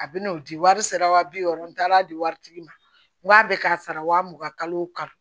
A bɛna o di wari sera wa bi wɔɔrɔ n taara di waritigi ma n k'a bɛ k'a sara wa mugan kalo kalo